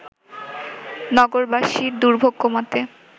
নগরবাসীর দুর্ভোগ কমাতে